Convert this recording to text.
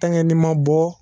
Taŋɛ n'i ma bɔ